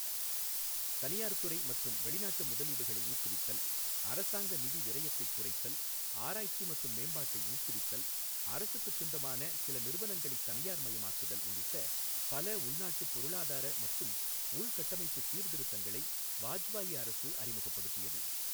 தனியார் துறை மற்றும் வெளிநாட்டு முதலீடுகளை ஊக்குவித்தல், அரசாங்க நிதி விரயத்தைக் குறைத்தல், ஆராய்ச்சி மற்றும் மேம்பாட்டை ஊக்குவித்தல், அரசுக்குச் சொந்தமான சில நிறுவனங்களைத் தனியார்மயமாக்குதல் உள்ளிட்ட பல உள்நாட்டுப் பொருளாதார மற்றும் உள்கட்டமைப்புச் சீர்திருத்தங்களை வாஜ்பாயி அரசு அறிமுகப்படுத்தியது.